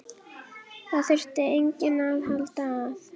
Það þyrfti enginn að halda að